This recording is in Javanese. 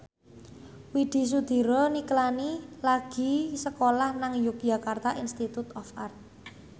Widy Soediro Nichlany lagi sekolah nang Yogyakarta Institute of Art